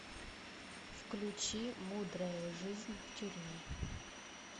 включи мудрая жизнь в тюрьме